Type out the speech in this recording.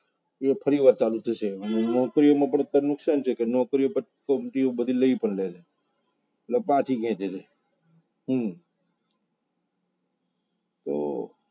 એવું પરિવાર ચાલુ થશે અને નોકરીઓમાં પણ અત્યારે નુકસાન છે કે નોકરીઓ બધી લઈ પણ લે છે એટલે પાછી ખેંચે છે હમ તો